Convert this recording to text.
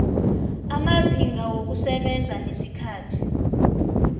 amazinga wokusebenza nesikhathi